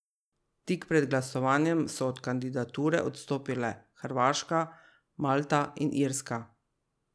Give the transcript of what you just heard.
Tik pred glasovanjem so od kandidature odstopile Hrvaška, Malta in Irska.